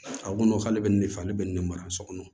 A ko n'o k'ale bɛ nin de fɔ ale bɛ nin ne mara so kɔnɔ